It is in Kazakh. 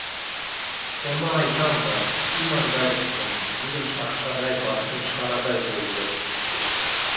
соны айтам да имандай шыным бүгін шақшадай басым шарадай болды инспектор